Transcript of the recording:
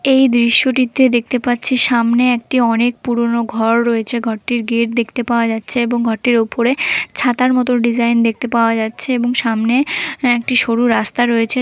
এই দৃশ্যটিতে দেখতে পাচ্ছি সামনে একটি অনেক পুরনো ঘর রয়েছে ঘরটির গেট দেখতে পাওয়া যাচ্ছে এবং ঘরটির ওপরে ছাতার মতো ডিজাইন দেখতে পাওয়া যাচ্ছে এবং সামনে একটি সরু রাস্তা রয়েছে ।